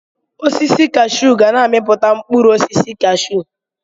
Osisi kashuu ga na-amipụta mkpụrụ osisi kashuu